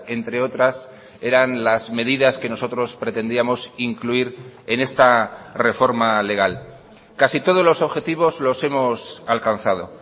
entre otras eran las medidas que nosotros pretendíamos incluir en esta reforma legal casi todos los objetivos los hemos alcanzado